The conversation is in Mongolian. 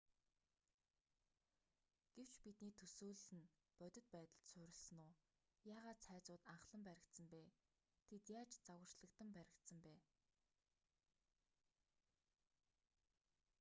гэвч бидний төсөөлөл нь бодит байдал суурилсан үү? яагаад цайзууд анхлан баригдсан бэ?тэд яаж загварчлагдан баригдсан бэ?